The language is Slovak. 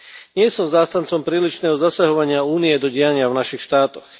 Nie som zástancom prílišného zasahovania Únie do diania v našich štátoch.